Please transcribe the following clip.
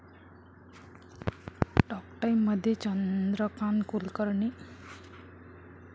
talk टाइम'मध्ये चंद्रकांत कुलकर्णी